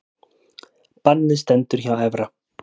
Bannið stendur hjá Evra